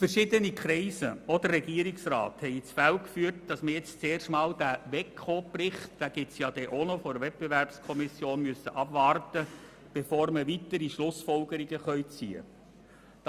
Verschiedene Kreise, darunter der Regierungsrat, haben ins Feld geführt, dass man zuerst einmal den Bericht der Wettbewerbskommission (WEKO) abwarten müsse, bevor man weitere Schlussfolgerungen ziehen könne.